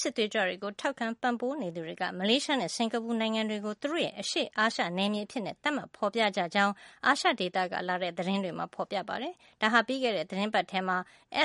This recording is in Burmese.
စစ်သွေးကြွတွေကို ထောက်ခံ ပံ့ပိုးနေသူ တွေက မလေးရှားနဲ့ စင်္ကာပူနိုင်ငံတွေကို သူတို့ရဲ့ အရှေ့အာရှ နယ်မြေ အဖြစ် သတ်မှတ်ဖေါ်ပြကြကြောင်း အာရှဒေသက လာတဲ့ သတင်းတွေမှာ ဖေါ်ပြကြပါတယ်။ ပြီးခဲ့တဲ့ သီတင်းပတ်မှာ